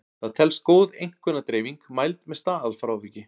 Það telst góð einkunnadreifing mæld með staðalfráviki.